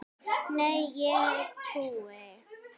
Nei, ég trúi þér ekki.